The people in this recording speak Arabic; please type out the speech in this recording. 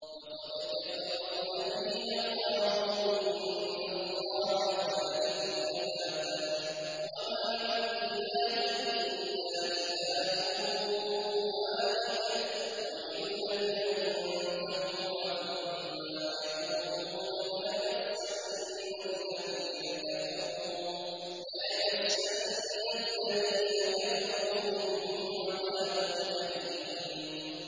لَّقَدْ كَفَرَ الَّذِينَ قَالُوا إِنَّ اللَّهَ ثَالِثُ ثَلَاثَةٍ ۘ وَمَا مِنْ إِلَٰهٍ إِلَّا إِلَٰهٌ وَاحِدٌ ۚ وَإِن لَّمْ يَنتَهُوا عَمَّا يَقُولُونَ لَيَمَسَّنَّ الَّذِينَ كَفَرُوا مِنْهُمْ عَذَابٌ أَلِيمٌ